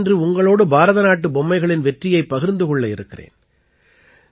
நான் இன்று உங்களோடு பாரத நாட்டுப் பொம்மைகளின் வெற்றியைப் பகிர்ந்து கொள்ள இருக்கிறேன்